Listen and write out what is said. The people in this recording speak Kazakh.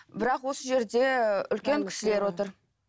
бірақ осы жерде үлкен кісілер отыр